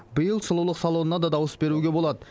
биыл сұлулық салонына да дауыс беруге болады